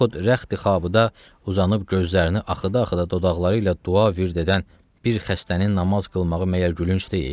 Yaxud rəxti xabı da uzanıb gözlərini axıdı-axıdı dodaqları ilə dua vird edən bir xəstənin namaz qılmağı məgər gülünc deyil?